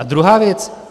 A druhá věc.